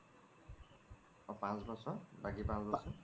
অ পাঁচ বছৰ বাকি পাঁচ বছৰ ?